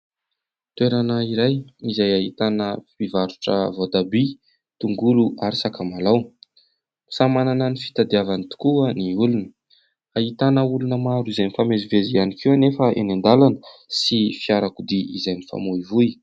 Toerana iray izay ahitana mpivarotra voatabia, tongolo ary sakamalaho. Samy manana ny fitadiavany tokoa ny olona. Ahitana olona maro izay nifamezivezy ihany koa anefa eny an-dalana, sy fiarakodia izay mifamoivoy.